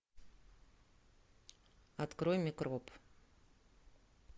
открой микроб